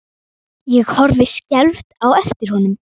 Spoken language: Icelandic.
Ég horfi skelfd á eftir honum.